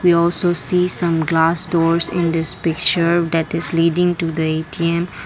we also see some glass stores in this picture that is leading to the A_T_M.